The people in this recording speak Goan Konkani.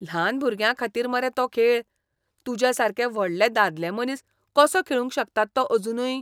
ल्हान भुरग्यांखातीर मरे तो खेळ. तुज्या सारके व्हडले दादलेमनीस कसो खेळूंक शकतात तो अजूनय?